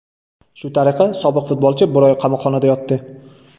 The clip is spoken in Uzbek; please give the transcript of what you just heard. Shu tariqa, sobiq futbolchi bir oy qamoqxonada yotdi.